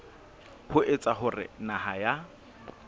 ho etsa hore naha ya